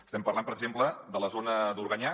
estem parlant per exemple de la zona d’organyà